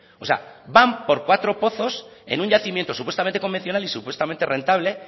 o sea van por cuatro pozos en un yacimiento supuestamente convencional y supuestamente rentable